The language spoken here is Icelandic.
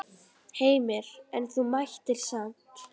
Heimir: En þú mættir samt?